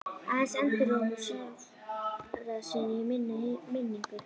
Aðeins endurómur sjálfra sín í minni minningu.